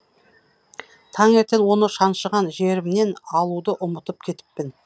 таңертең оны шаншыған жерімнен алуды ұмытып кетіппін